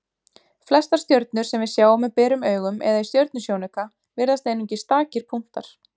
Flestar stjörnur sem við sjáum með berum augum eða í stjörnusjónauka virðast einungis stakir punktar.